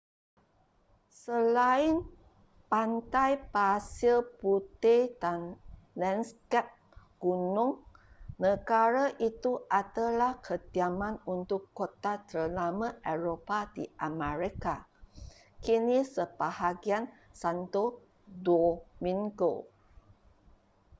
selain pantai pasir putih dan lanskap gunung negara itu adalah kediaman untuk kota terlama eropah di amerika kini sebahagian santo domingo